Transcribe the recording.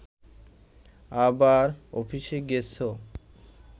আবার অফিসে গেছ